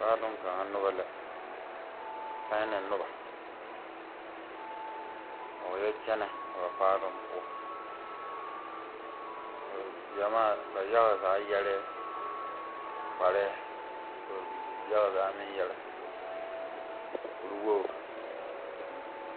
Paaloŋ kaŋa noba la china noba a wa yɔ kyɛnɛ a ba paaloŋ poɔ gyɛmaa ba yaga zaa yɛrɛɛ kparɛɛ ka ba yaga zaa meŋ yɛre kuriwogre.